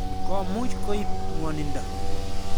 Ko muuch koip ng'wanindo.